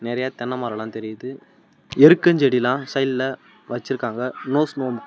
நெறைய தென்னமரலா தெரியிது எருக்கஞ்செடில்லா சைடுல வச்சிருக்காங்க நோஸ்மோ .